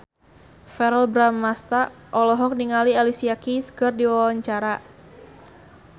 Verrell Bramastra olohok ningali Alicia Keys keur diwawancara